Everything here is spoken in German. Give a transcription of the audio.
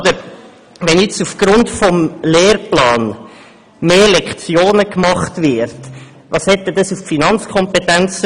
Wenn nun aufgrund des Lehrplans mehr Lektionen geschaffen werden, welche Folgen hat dies dann hinsichtlich der Finanzkompetenzen?